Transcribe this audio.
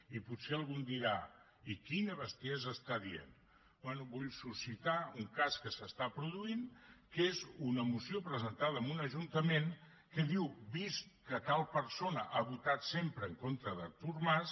i potser algú em dirà i quina bestiesa diu bé vull suscitar un cas que es produeix que és una moció presentada en un ajuntament que diu que vist que tal persona ha votat sempre en contra d’artur mas